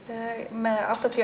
með áttatíu